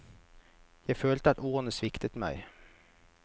Jeg følte at ordene sviktet meg.